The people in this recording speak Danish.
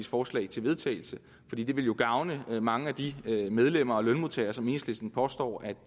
forslag til vedtagelse fordi det ville jo gavne mange af de medlemmer og lønmodtagere som enhedslisten påstår at